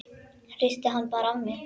Hristi hann bara af mér.